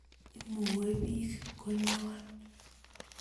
Imuebik konyon